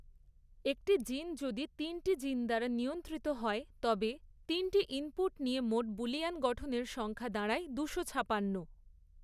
একটি জিন যদি তিনটি জিন দ্বারা নিয়ন্ত্রিত হয় তবে, তিনটি ইনপুট নিয়ে মোট বুলিয়ান গঠনের সংখ্যা দাঁড়ায় দুশো ছাপান্ন।।